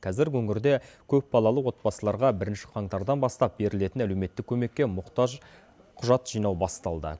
қазір өңірде көпбалалы отбасыларға бірінші қаңтардан бастап берілетін әлеуметтік көмекке мұқтаж құжат жинаубасталды